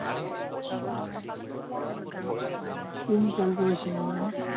কোন call কৰিছিলে নাজানো